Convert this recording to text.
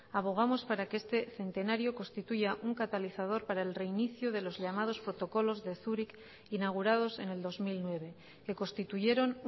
abogamos para que este centenario constituya un catalizador para el reinicio de los llamados protocolos de zúrich inaugurados en el dos mil nueve que constituyeron